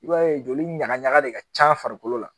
I b'a ye joli ɲagaɲaga de ka can farikolo la